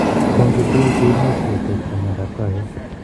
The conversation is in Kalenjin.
Orochu tuguk chemuch ketekta miondap kawek